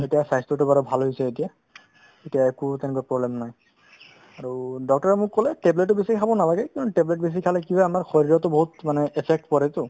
এতিয়া স্বাস্থ্যতো বাৰু ভালে হৈছে এতিয়া এতিয়া একো তেনেকুৱা problem নাই আৰু doctor ৰে মোক ক'লে tablet ও বেছি খাব নালাগে কিয়নো tablet বেছি খালে কি হয় আমাৰ শৰীৰতো বহুত মানে affect পৰেতো